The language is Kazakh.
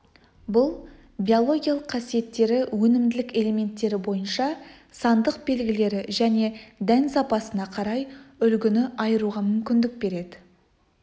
бұл биологиялық қасиеттері өнімділік элементтері бойынша сандық белгілері және дән сапасына қарай үлгіні айыруға мүмкіндік берді